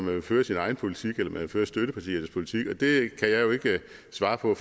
vil føre sin egen politik eller man vil føre støttepartiernes politik og det kan jeg jo ikke svare på